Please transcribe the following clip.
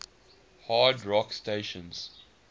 hard rock stations